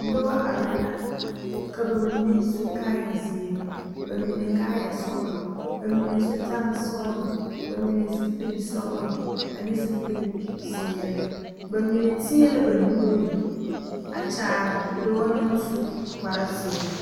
Noba are la ka ba mine su kaayɛ zeere ba mine kaayɛ sɔgelɔ ba mine zutare sɔgelɔ ba mine zupili sɔgelɔ ane zupili zeere ba mine teɛ la ba nuure a kyaare dɔɔ naŋ su kpare zeɛ